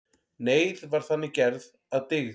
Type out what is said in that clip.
Neyð var þannig gerð að dygð.